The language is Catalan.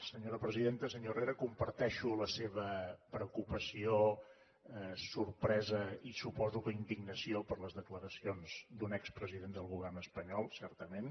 senyor herrera comparteixo la seva preocupació sorpresa i suposo que indignació per les declaracions d’un expresident del govern espanyol certament